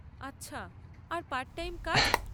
আচ্ছা, আর part time কাজ?